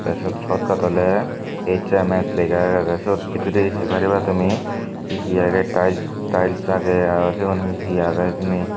te siot shortcut oley HMS siyot bidire se pariba tumi he he agey tiles agey aro sigun he he agey hijeni.